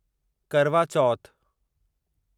करवा चौथ